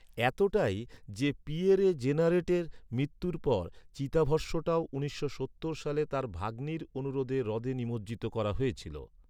এতটাই যে, পিয়েরে জেনারেটের মৃত্যুর পর চিতাভস্মটাও উনিশশো সত্তর সালে তার ভাগ্নির অনুরোধে হ্রদে নিমজ্জিত করা হয়েছিল।